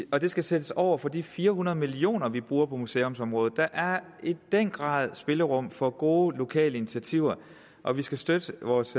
og de skal sættes over for de fire hundrede million kr vi bruger på museumsområdet der er i den grad spillerum for gode lokale initiativer og vi skal støtte vores